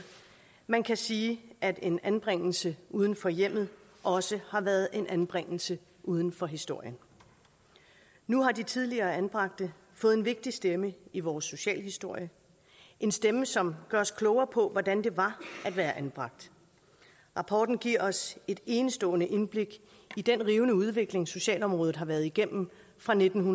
man kan sige at en anbringelse uden for hjemmet også har været en anbringelse uden for historien nu har de tidligere anbragte fået en vigtig stemme i vores socialhistorie en stemme som gør os klogere på hvordan det var at være anbragt rapporten giver os et enestående indblik i den rivende udvikling socialområdet har været igennem fra nitten